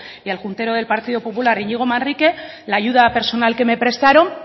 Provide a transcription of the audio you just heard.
y al juntero del partido popular iñigo manrique la ayuda personal que me prestaron